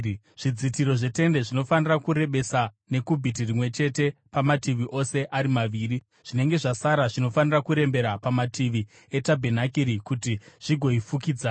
Zvidzitiro zvetende zvinofanira kurebesa nekubhiti rimwe chete pamativi ose ari maviri; zvinenge zvasara zvinofanira kurembera pamativi etabhenakeri kuti zvigoifukidza.